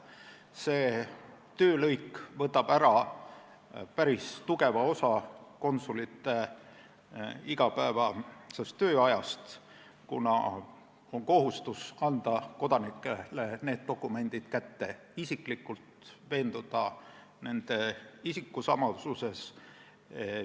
See töölõik võtab ära päris tugeva osa konsulite igapäevasest tööajast, kuna on kohustus anda kodanikele need dokumendid kätte isiklikult, et veenduda isikusamasuses.